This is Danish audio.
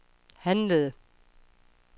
handlede